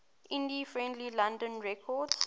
indie friendly london records